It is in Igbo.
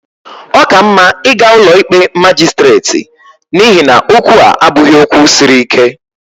Ọ ka mma ịga ụlọ ikpe majistreti n'ihi na okwu a abụghị okwu siri ike